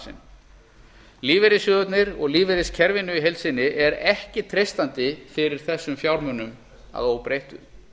sinn lífeyrissjóðunum og lífeyriskerfinu í heild sinni er ekki treystandi fyrir þessum fjármunum að óbreyttu